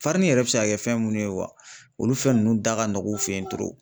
yɛrɛ bi se ka kɛ fɛn munnu ye wa, olu fɛn nunnu da ka nɔgɔn u fɛyen